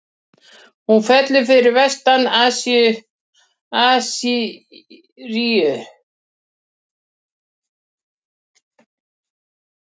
Hún fellur fyrir vestan Assýríu.